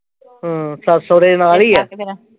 ਹਮ ਸੱਸ ਸਹੁਰੇ ਨਾਲ ਈ ਆ